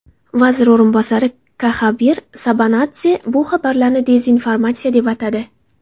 Vazir o‘rinbosari Kaxaber Sabanadze bu xabarlarni dezinformatsiya deb atadi.